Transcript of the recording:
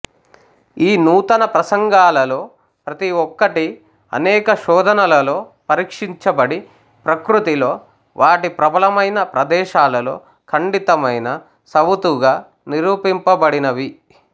ఈ నూతన ప్రసంగాలలో ప్రతి ఓక్కటీ అనేక శోధనలలో పరీక్షించబడి ప్రకృతిలో వాటి ప్రబలమైన ప్రదేశాలలో ఖండితమైన సవుతుగా నిరూపింపబడినవి